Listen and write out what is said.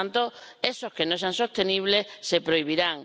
Por tanto, esos que no sean sostenibles se prohibirán.